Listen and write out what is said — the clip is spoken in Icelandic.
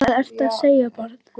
Hvað ertu að segja barn?